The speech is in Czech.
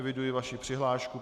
Eviduji vaši přihlášku.